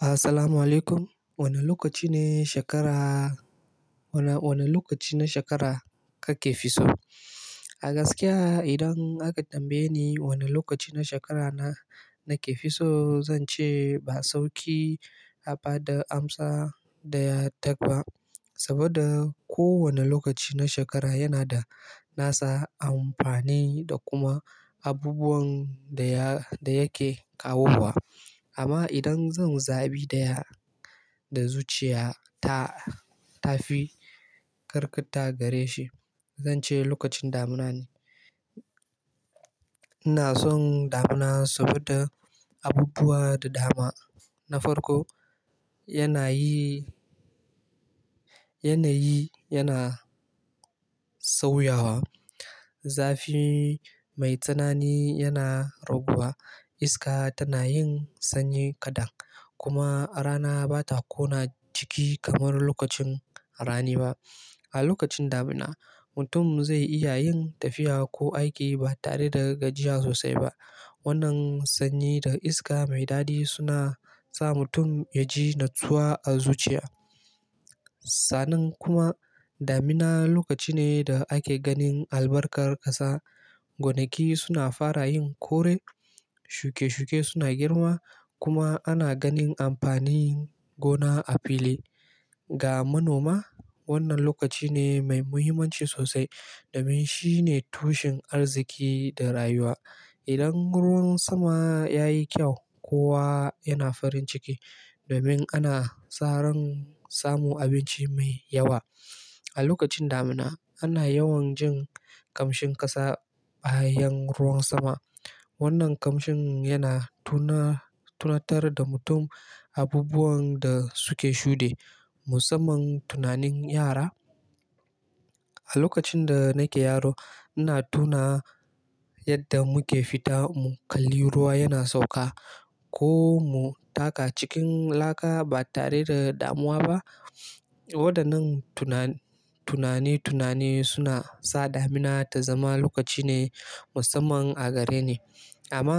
Assalamu alaikum. Wane lokaci ne shekara, wane lokaci na shekara kake fi so? A gaskiya idan aka tambaye ni wane lokaci na shekara na ke fi so, zan ce ba sauki a ba da amsa da ya daki ba. Saboda kowane lokaci na shekara yana da nasa amfani da kuma abubuwan da yake kawowa. Amma idan zan zabi daya zuciya ta fi karkata gare shi, zan ce lokacin damina ne. Ina son damina saboda abubuwa da dama. Na farko, yanayi yana sauyawa. Zafi mai tsanani yana raguwa, iska tana yin sanyi kaɗan kuma rana ba ta kona jiki kamar lokacin rani ba. A lokacin damina, mutum zai iya yin tafiya ko aiki ba tare da gajiya sosai ba. Wannan sanyi da iska mai dadi suna sa mutum ya ji natsuwa a zuciya. Sannan kuma damina lokaci ne da ake ganin albarkar ƙasa. Gonaki suna fara yin kore, shuke-shuke suna girma kuma ana ganin amfanin gona a fili. Ga manoma, wannan lokaci ne mai muhimmanci sosai. Domin shi ne tushen arziki da rayuwa. Idan ruwan sama ya yi kyau, kowa yana farin ciki domin ana saurin samu abinci mai yawa. A lokacin damina ana yawan jin kamshin ƙasa bayan ruwan sama. Wannan kamshin yana tunatar da mutum abubuwan da suke shuɗe. Musamman tunanin yara. A lokacin da nake yaro, ina tuna yadda muke fita mu kalli ruwa yana sauka ko mu taka cikin laka ba tare da damuwa ba. Waɗannan tunani-tunani suna sa damina ta zama lokaci ne musamman a gare ni. Amma